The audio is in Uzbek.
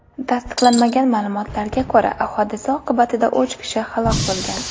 Tasdiqlanmagan ma’lumotlarga ko‘ra, hodisa oqibatida uch kishi halok bo‘lgan .